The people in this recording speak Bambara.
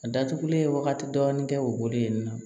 A datugulen wagati dɔɔni kɛ o bolo yen nɔ